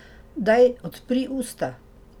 Daj, odpri usta.